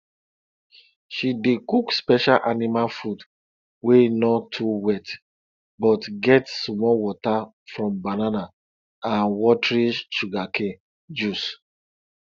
she dey cook special animal food wey no too wet but get small water from banana and watery sugarcane juice